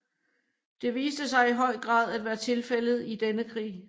Det viste sig i høj grad at være tilfældet i denne krig